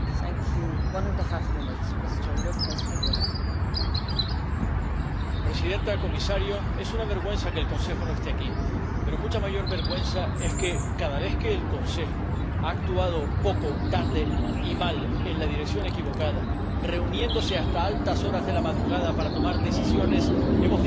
Señora presidenta, señor comisario, es una vergüenza que el Consejo no esté aquí, pero mucha mayor vergüenza es que cada vez que el Consejo ha actuado poco, tarde y mal en la dirección equivocada, reuniéndose hasta altas horas de la madrugada para tomar decisiones, hemos dicho aquí, en todas las lenguas oficiales de la Unión ¿Qué más da,